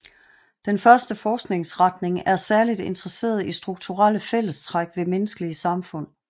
Den første forskningsretning er særligt interesseret i strukturelle fællestræk ved menneskelige samfund